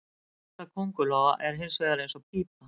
Hjarta köngulóa er hins vegar eins og pípa.